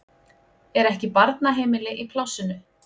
Er ekki barnaheimili í plássinu?